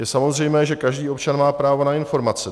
Je samozřejmé, že každý občan má právo na informace.